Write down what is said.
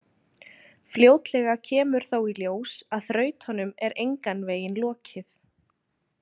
Fljótlega kemur þó í ljós að þrautunum er engan veginn lokið.